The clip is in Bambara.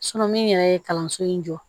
min yɛrɛ ye kalanso in jɔ